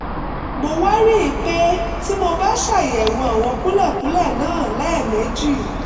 mo wá rí i pé tí mo bá ṣàyẹ̀wò àwọn kúlẹ̀kúlẹ̀ náà lẹ́ẹ̀mejì